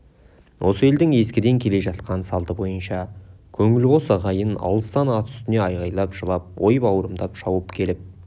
осы елдің ескіден келе жатқан салты бойынша көңілқос ағайын алыстан ат үстінен айғайлап жылап ой бауырымдап шауып келіп